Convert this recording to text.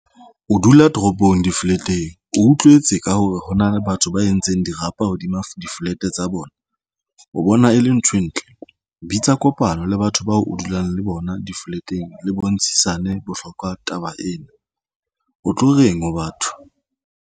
O dula toropong di-flat-eng o utlwetse ka hore hona le batho ba entseng dirapa hodima di-flat tsa bona o bona e le nthwe ntle. Bitsa kopano le batho bao o dulang le bona. Di-flat-eng le bontshisane bohlokwa. Taba eno o tlo reng ho batho?